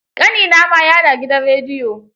Ƙanina ma ya da gidan rediyo.